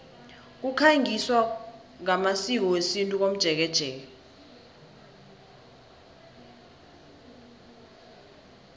kukhangiswa ngamasiko wesintu komjekejeke